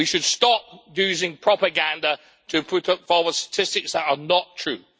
We should stop using propaganda to put forward statistics are not true.